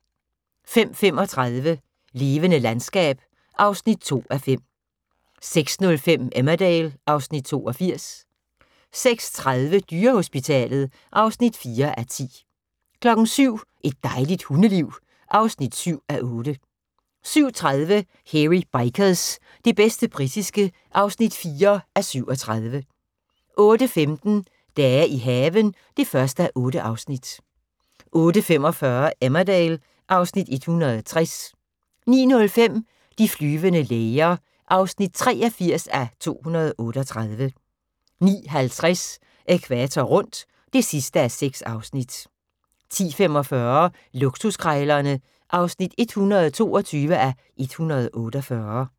05:35: Levende landskab (2:5) 06:05: Emmerdale (Afs. 82) 06:30: Dyrehospitalet (4:10) 07:00: Et dejligt hundeliv (7:8) 07:30: Hairy Bikers – det bedste britiske (4:37) 08:15: Dage i haven (1:8) 08:45: Emmerdale (Afs. 160) 09:05: De flyvende læger (83:238) 09:50: Ækvator rundt (6:6) 10:45: Luksuskrejlerne (122:148)